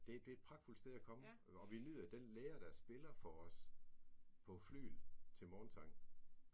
Det det et pragtfuldt at komme og vi nyder den lærer der spiller for os på flygel til morgensang